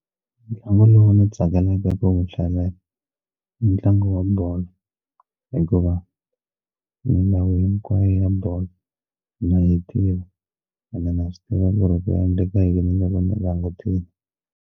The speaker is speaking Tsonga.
Ntlangu lowu ni tsakelaka ku wu hlalela i ntlangu wa bolo hikuva milawu hinkwayo ya bolo na yi tiva ene na swi tiva ku ri ku endleka yini loko ni langutile.